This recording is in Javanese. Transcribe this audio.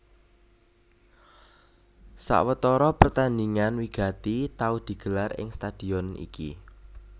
Sawetara pertandingan wigati tau digelar ing stadion iki